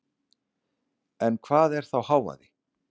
En hvað er þá hávaði?